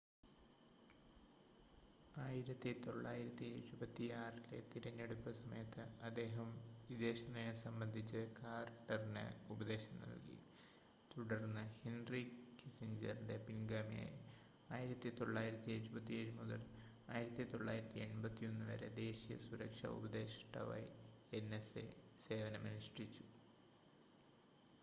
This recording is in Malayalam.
1976-ലെ തിരഞ്ഞെടുപ്പ് സമയത്ത് അദ്ദേഹം വിദേശനയം സംബന്ധിച്ച് കാർട്ടറിന് ഉപദേശം നൽകി തുടർന്ന് ഹെൻ‌റി കിസിഞ്ചറിന്റെ പിൻഗാമിയായി 1977 മുതൽ 1981 വരെ ദേശീയ സുരക്ഷാ ഉപദേഷ്‌ടാവായി nsa സേവനമനുഷ്ഠിച്ചു